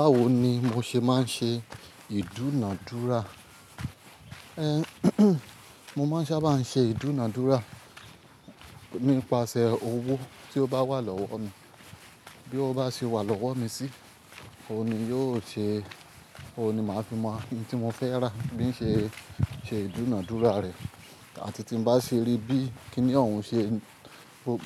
Báwo ni mo ṣe máa ń ṣe ìdúnadúrà? Ehn mo máa ń sábà ṣe ìdúnadúrà nípasẹ̀ owó tí ó bá wà lọ́wọ́ mi, bí ó bá ṣe wà lọ́wọ́ mi sì, òun ni yóò ṣe, òun ni màá fi mọ ohun tí mo fẹ́ rà bí ṣe ṣe ìdúnadúrà rẹ̀ àti tí mo bá ṣe rí bí kíni ohun ṣe,